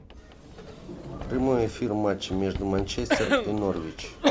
прямой эфир матча между манчестер и норвич